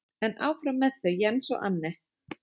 En áfram með þau Jens og Anne.